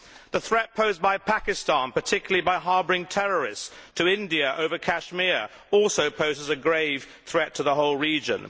The threat posed by Pakistan, particularly by harbouring terrorists, to India over Kashmir also poses a grave threat to the whole region.